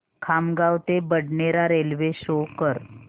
खामगाव ते Badnera railway show कर